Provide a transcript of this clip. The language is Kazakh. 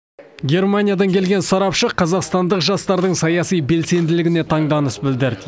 германиядан келген сарапшы қазақстандық жастардың саяси белсенділігіне таңданыс білдірді